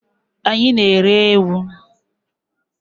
Anyị na-ere ewu.